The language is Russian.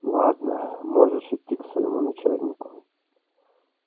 ладно можешь идти к своему начальнику